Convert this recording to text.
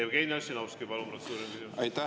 Jevgeni Ossinovski, palun, protseduuriline küsimus!